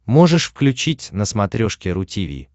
можешь включить на смотрешке ру ти ви